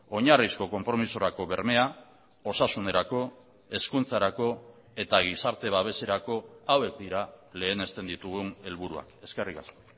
oinarrizko konpromisorako bermea osasunerako hezkuntzarako eta gizarte babeserako hauek dira lehenesten ditugun helburuak eskerrik asko